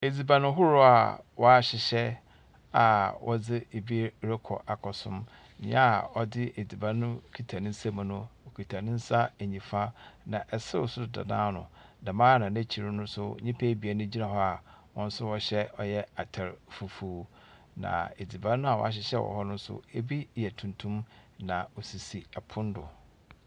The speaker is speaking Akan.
Edziban horow a wɔahyehyɛ a wɔdze ebi rokɔ akɔsom. Nea a ɔdze edziban no kita no nsam no, ɔkita ne nsa nifa, na serew nso da n'ano. Dɛm ara na n'ekyir no nso, nnipa ebien gyina hɔ a wɔn nso wɔhyɛ atar fufuw, na edziban a wɔahyehyɛ wɔ hɔ no nso ebi yɛ tuntum, na osisi pon do.